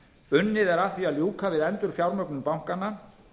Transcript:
unnið er að því að ljúka við endurfjármögnun bankanna